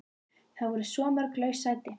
Það voru svo mörg laus sæti.